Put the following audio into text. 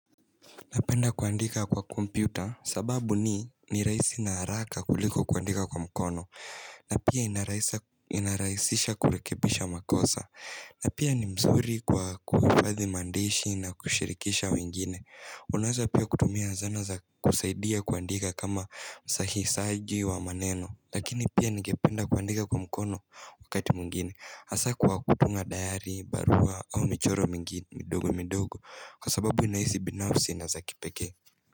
Napenda kuandika kwa kompyuta. Sababu ni, ni rahisi na haraka kuliko kuandika kwa mkono. Na pia inarahisisha kurekebisha makosa na pia ni mzuri kwa kuambathi maandishi na kushirikisha wengine. Unaweza pia kutumia zana za kusaidia kuandika kama usahisaji wa maneno. Lakini pia ningependa kuandika kwa mkono, wakati mwingine. Hasa kwa kutunga diary, barua au michoro mingine midogo midogo. Kwa sababu inahisi binafsi na za kipekee.